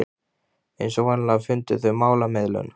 Eins og vanalega fundu þau málamiðlun.